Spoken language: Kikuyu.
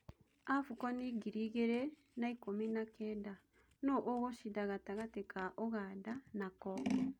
Abukoni ngiri igĩrĩ na ikũmi na kenda: No-ũgũcinda gatagatĩ ka-ũganda na Kongo ?